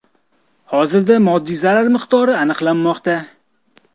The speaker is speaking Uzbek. Hozirda moddiy zarar miqdori aniqlanmoqda.